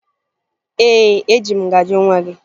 Ee, eji m ngaji nwa gị